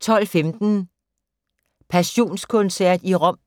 12:15: Passionskoncert i Rom